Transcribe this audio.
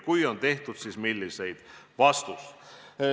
Kui on tehtud, siis milliseid?